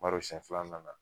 Bar'o sɛn fila an nana